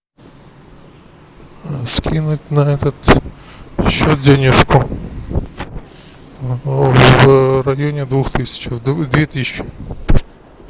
скинуть на этот счет денежку в районе двух тысяч две тысячи